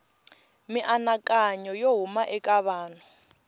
mianakanyo yo huma eka vanhu